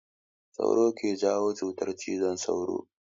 Sauro ke jawo cutar cizon sauro.